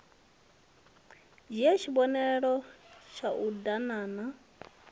dzhie tshivhonelo tshau d aganana